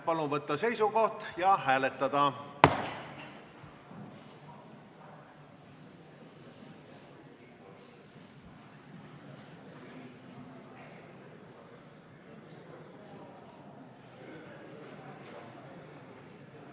Palun võtta seisukoht ja hääletada!